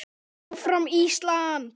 ÁFRAM ÍSLAND!